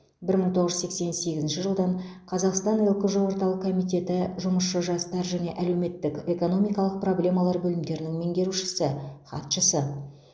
бір мың тоғыз жүз сексен сегізінші жылдан қазақстан лкжо орталық комитеті жұмысшы жастар және әлеуметтік экономикалық проблемалар бөлімдерінің меңгерушісі хатшысы